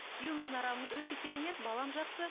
күйеуіміздің арамыз өте керемет балам жақсы